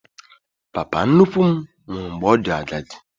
Papa nnukwu m nwụrụ mgbe ọ dị agadi